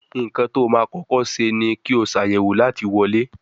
Nkán tó má kókó ṣe ní kio Ṣàyẹ̀wò láti wọlé.